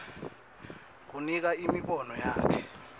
kunika imibono yakhe